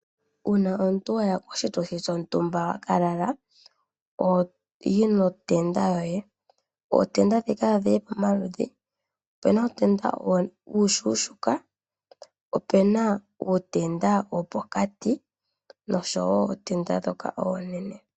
Uuna omuntu waya koshituthi shontumba waka lala ohoyi notenda yoye. Ootenda ndhika odhili pomaludhi opuna uutenda mboka uushona, opena ootenda ndhoka dhopokati oshowo ootenda ndhoka oonene.